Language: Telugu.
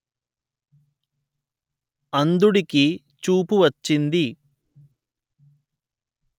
అంధుడికి చూపు వచ్చింది